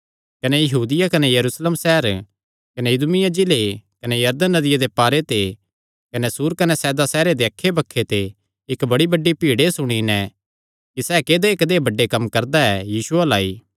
कने यहूदिया कने यरूशलेम सैहर कने इदूमिया जिले कने यरदन नदिया दे पारे दे कने सूर कने सैदा सैहरे दे अक्खैबक्खे ते इक्क बड्डी भीड़ एह़ सुणी नैं कि सैह़ कदेय बड्डेबड्डे कम्म करदा ऐ यीशु अल्ल आई